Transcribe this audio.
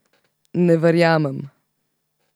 Ne verjamem.